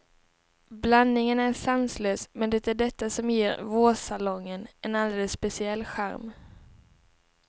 Blandningen är sanslös, men det är detta som ger vårsalongen en alldeles speciell charm.